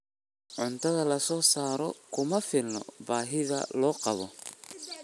Cuntada la soo saaray kuma filna baahida loo qabo.